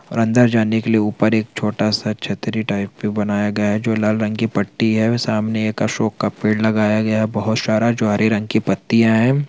और अंदर जाने के लिए ऊपर एक छोटा-सा छतरी टाइप पे बनाया गया है जो लाल रंग की पट्टी है सामने एक अशोक का पेड़ लगाया गया है बहोत सारा जो हरे रंग की पत्तियां है।